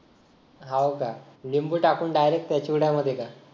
हो का लिंबू टाकून direct चिवड्यामध्ये का